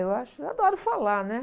Eu acho, eu adoro falar, né?